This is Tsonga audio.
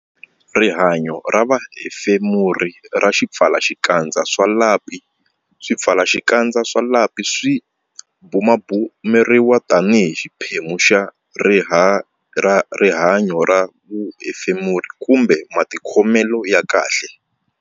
Rihanyo ra vuhefemuri ra swipfalaxikandza swa lapi Swipfalaxikandza swa lapi swi bumabumeriwa tanihi xiphemu xa rihanyo ra vuhefemuri kumbe matikhomelo ya kahle.